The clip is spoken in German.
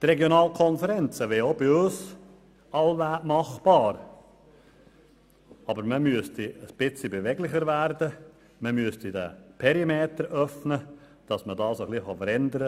Die Regionalkonferenzen wären wohl auch bei uns machbar, aber man müsste etwas beweglicher werden, man müsste den Perimeter öffnen, um eine Veränderung herbeizuführen.